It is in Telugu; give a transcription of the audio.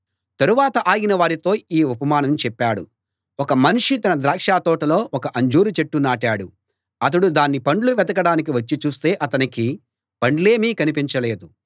తరవాత ఆయన వారితో ఈ ఉపమానం చెప్పాడు ఒక మనిషి తన ద్రాక్షతోటలో ఒక అంజూరు చెట్టు నాటాడు అతడు దాని పండ్లు వెదకడానికి వచ్చి చూస్తే అతనికి పండ్లేమీ కనిపించలేదు